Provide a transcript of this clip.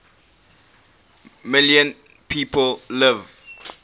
million people live